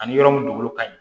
Ani yɔrɔ min dugukolo ka ɲi